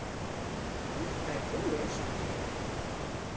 Þetta er góður ostur.